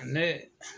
Ne